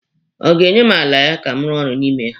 Ọ ga-enye m ala ya ka m rụọ ọrụ n'ime ya?